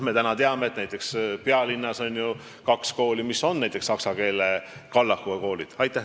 Näiteks, me teame, et pealinnas on kaks kooli, mis on saksa keele kallakuga.